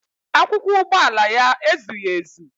Akwụkwọ ụgbọala ya ezughị ezu